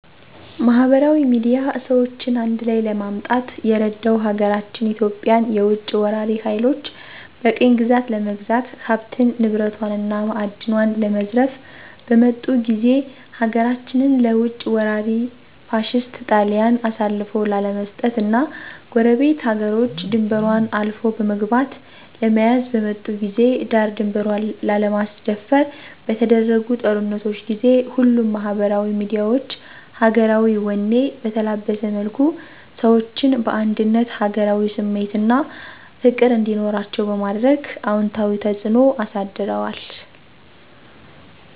ማህበራዊ ሚድያ ሰዎችን አንድላይ ለማምጣት የረዳው ሀገራችን ኢትዮጵያን የውጭ ወራሪ ሀይሎች በቅኝ ግዛት ለመግዛት ሀብት ንብረቷን እና ማእድኗን ለመዝረፍ በመጡ ጊዜ ሀገራችንን ለውጭ ወራሪ ፋሽስት ጣሊያን አሳልፎ ላለመስጠት እና ጎረቤት ሀገሮች ድንበሯን አልፎ በመግባት ለመያዝ በመጡ ጊዜ ዳር ድንበሯን ላለማስደፈር በተደረጉ ጦርነቶች ጊዜ ሁሉም ማህበራዊ ሚዲያዎች ሀገራዊ ወኔ በተላበሰ መልኩ ሰዎችን በአንድነት ሀገራዊ ስሜት አና ፍቅር እንዲኖራቸዉ በማድረግ አወንታዊ ተጽእኖ አሳድረዋል።